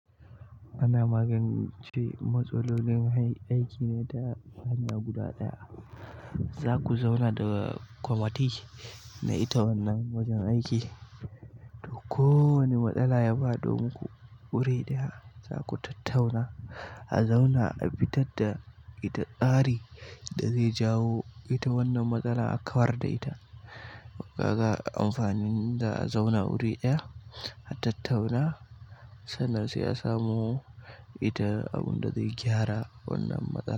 Ana magance matsalolin aiki ne ta hanya guda ɗaya. Zaku zauna da komadi da ita wannan wajan aiki to kowa ne matsala yafado muku wuri ɗaya zaku ku tattauna a zauna afitarda ita tsari dazai jawo ita wannan matsala akawar da ita kaga amfani a zauna wuri ɗaya a tattauna sannan sai asamo ita a bunda zai gyara wannan matsala.